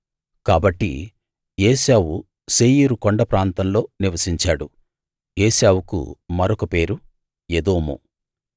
కాబట్టి ఏశావు శేయీరు కొండ ప్రాంతంలో నివసించాడు ఏశావుకు మరొక పేరు ఎదోము